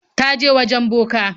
Ta je wajen boka.